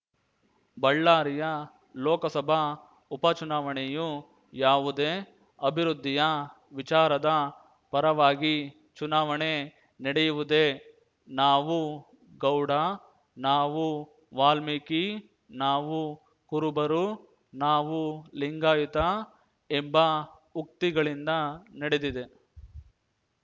ಬಳ್ಳಾರಿಯ ಲೋಕಸಭಾ ಉಪಚುನಾವಣೆಯು ಯಾವುದೇ ಅಭಿವೃದ್ಧಿಯ ವಿಚಾರದ ಪರವಾಗಿ ಚುನಾವಣೆ ನಡೆಯುವುದೇ ನಾವು ಗೌಡ ನಾವು ವಾಲ್ಮೀಕಿ ನಾವು ಕುರುಬರು ನಾವು ಲಿಂಗಾಯುತ ಎಂಬ ಉಕ್ತಿಗಳಿಂದ ನಡೆದಿದೆ